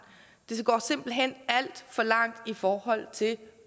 det går simpelt hen alt for langt i forhold til